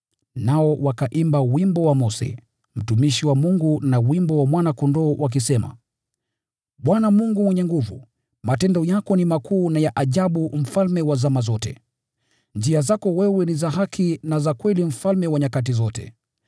Nao wakaimba wimbo wa Mose, mtumishi wa Mungu, na wimbo wa Mwana-Kondoo, wakisema: “ Bwana Mungu Mwenyezi, matendo yako ni makuu na ya ajabu. Njia zako wewe ni za haki na za kweli, Mfalme wa nyakati zote!